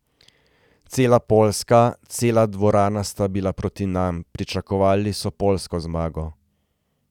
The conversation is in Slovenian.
Cela Poljska, cela dvorana sta bili proti nam, pričakovali so poljsko zmago.